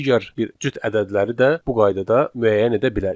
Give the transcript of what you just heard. Digər bir cüt ədədləri də bu qaydada müəyyən edə bilərik.